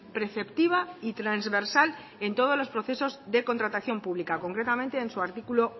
preceptiva y transversal en todos los procesos de contratación pública concretamente en su artículo